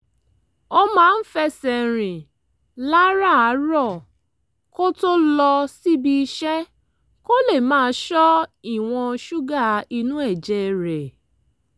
ó máa ń fẹsẹ̀ rìn láràárọ̀ kó tó lọ síbi iṣẹ́ kó lè máa ṣọ́ ìwọ̀n ṣúgà inú ẹ̀jẹ̀ rẹ̀